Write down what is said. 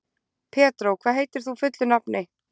Pedró, hvað heitir þú fullu nafni?